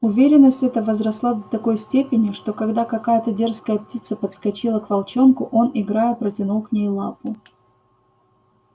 уверенность эта возросла до такой степени что когда какая-то дерзкая птица подскочила к волчонку он играя протянул к ней лапу